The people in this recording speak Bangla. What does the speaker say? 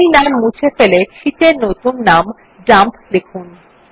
এখন এই নাম মুছে ফেলে শীট এর নতুন নাম ডাম্প লিখুন